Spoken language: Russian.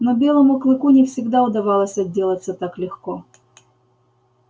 но белому клыку не всегда удавалось отделаться так легко